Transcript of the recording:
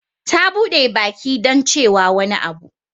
Ta bude baki don cewa wani abu.